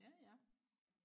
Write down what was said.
ja ja